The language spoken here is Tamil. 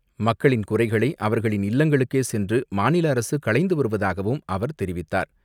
மக்களின் குறைகளை அவர்களின் இல்லங்களுக்கே சென்று மாநில அரசு களைந்து வருவதாகவும் அவர் தெரிவித்தார்.